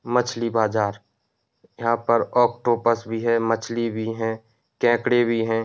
मछली बाजार। यहाँ पर ऑक्टोपस भी है मछली भी है केकड़े भी है।